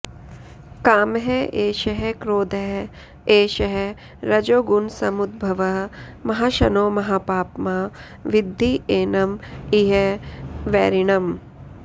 कामः एषः क्रोधः एषः रजोगुणसमुद्भवः महाशनो महापाप्मा विद्धि एनम् इह वैरिणम्